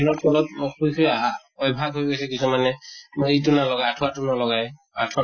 কবাত কৈছে আহা । অভ্য়াস হৈ গৈছে কিছুমানে । মই ইটো নলগাও, আঠোৱা তো নলগাই । আঠোৱা ন